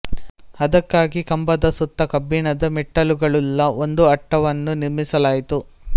ಅದಕ್ಕಾಗಿ ಕಂಬದ ಸುತ್ತ ಕಬ್ಬಿಣದ ಮೆಟ್ಟಲುಗಳುಳ್ಳ ಒಂದು ಅಟ್ಟವನ್ನು ನಿರ್ಮಿಸಲಾಯಿತು